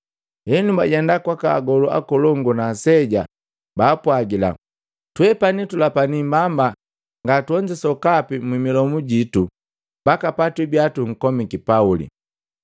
Henu, bajenda kwaka agolu akolongu na aseja, baapwagila, “Twepani tulapiki mbamba nga tuonzi sokapi mu milomu jitu mbaka patwibia tunkomiki Pauli.